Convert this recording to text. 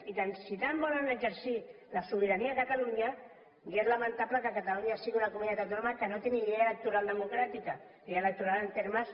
i si tant volen exercir la sobirania a catalunya ja és lamentable que catalunya sigui una comunitat autònoma que no té ni llei electoral democràtica llei electoral en termes